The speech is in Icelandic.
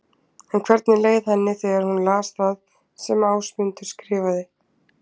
En hvernig leið henni þegar hún las það sem Ásmundur skrifaði?